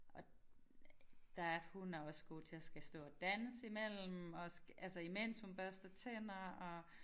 Og der er hun er også god til at skal stå og danse imellem også altså imens hun børster tænder og